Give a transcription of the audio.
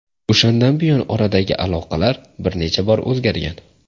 O‘shandan buyon oradagi aloqalar bir necha bor o‘zgargan.